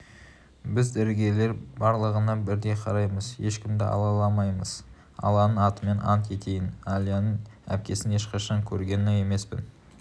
біз дәрігерлер барлығына бірдей қараймыз ешкімді алаламаймыз алланың атымен ант етейін әлияның әпкесін ешқашан көрген емеспін